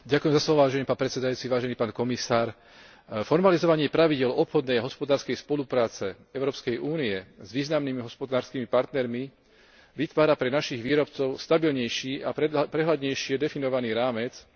Formalizovanie pravidiel obchodnej a hospodárskej spolupráce Európskej únie s významnými hospodárskymi partnermi vytvára pre našich výrobcov stabilnejší a prehľadnejšie definovaný rámec na spoluprácu so subjektmi partnerskej krajiny.